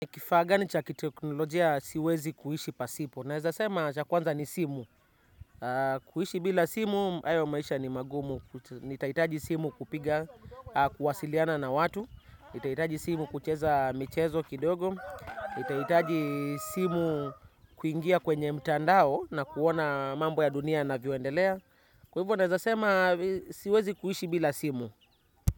Kifaa gani cha kiteknolojia siwezi kuishi pasipo. Naeza sema cha kwanza ni simu. Kuishi bila simu, hayo maisha ni magumu. Nitaitaji simu kupiga, kuwasiliana na watu. Nitaitaji simu kucheza michezo kidogo. Nitaitaji simu kuingia kwenye mtandao na kuona mambo ya dunia yanavyoendelea. Kwa hivyo naeza sema siwezi kuhishi bila simu.